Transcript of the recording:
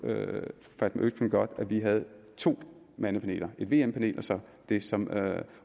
fatma øktem godt at vi havde to mandepaneler vm panelet og så det som